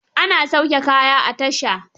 Ana sauke kaya a tasha.